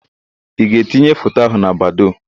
Ị ga-etinye foto ahụ na Badoo?